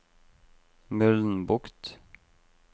Mølnbukt